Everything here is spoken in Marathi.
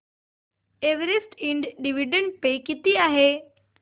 एव्हरेस्ट इंड डिविडंड पे किती आहे